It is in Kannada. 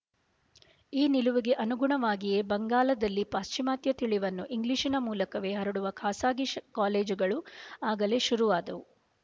ಈ ನಿಲುವಿಗೆ ಅನುಗುಣವಾಗಿಯೇ ಬೆಂಗಾಲದಲ್ಲಿ ಪಾಶ್ಚಿಮಾತ್ಯ ತಿಳಿವನ್ನು ಇಂಗ್ಲಿಶಿನ ಮೂಲಕವೇ ಹರಡುವ ಖಾಸಗಿ ಕಾಲೇಜುಗಳು ಆಗಲೇ ಶುರುವಾದವು